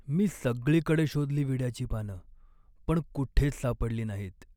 मी सगळीकडे शोधली विड्याची पानं, पण कुठेच सापडली नाहीत.